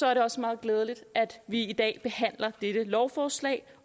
er det også meget glædeligt at vi i dag behandler disse lovforslag